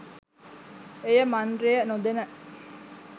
එය මන්ත්‍රය නොදැන